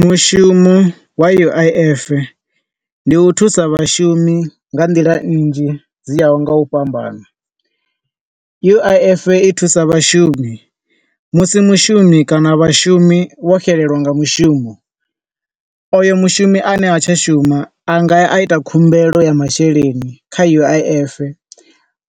Mushumo wa U_I_F ndi u thusa vhashumi nga nḓila nnzhi dzi ya ho nga u fhambana, U_I_F i thusa vhashumi musi mushumi kana vhashumi vho xelelwa nga mushumo. Oyo mushumi a ne ha tsha shuma a nga ya a ita khumbelo ya masheleni kha U_I_F,